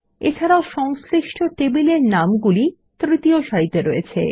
এছাড়াও সংশ্লিষ্ট টেবিলের নামগুলি তৃতীয় সারিতে রয়েছে